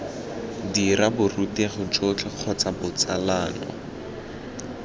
dira borutegi jotlhe kgotsa botsalano